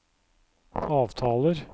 avtaler